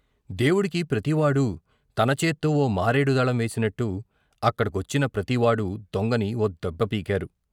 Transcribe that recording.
దేవుడికి ప్రతివాడూ తనచేత్తో ఓ మారేడు దళం వేసినట్టు, అక్కడి కొచ్చిన ప్రతివాడు దొంగని ఓ దెబ్బ పీకారు.